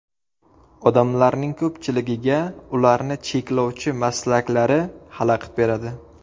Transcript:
Odamlarning ko‘pchiligiga ularni cheklovchi maslaklari xalaqit beradi.